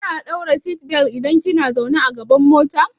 Kina daura seatbelt idan kin zauna a gaban mota.